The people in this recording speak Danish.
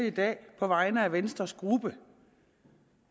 i dag på vegne af venstres gruppe